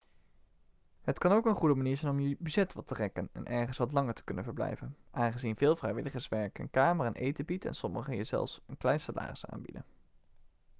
het kan ook een goede manier zijn om je budget wat te rekken en ergens wat langer te kunnen verblijven aangezien veel vrijwilligerswerk een kamer en eten biedt en sommigen je zelfs een klein salaris aanbieden